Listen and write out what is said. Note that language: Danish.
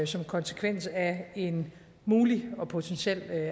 som konsekvens af en mulig og potentiel